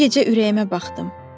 Bu gecə ürəyimə baxdım.